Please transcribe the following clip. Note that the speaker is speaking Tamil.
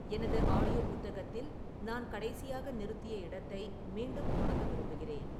எனது ஆடியோ புத்தகத்தில் நான் கடைசியாக நிறுத்திய இடத்தை மீண்டும் தொடங்க விரும்புகிறேன்